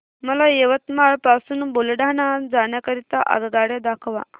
मला यवतमाळ पासून बुलढाणा जाण्या करीता आगगाड्या दाखवा